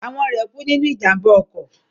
Àwọn rẹ̀ kú nínú ìjàmbá ọkọ̀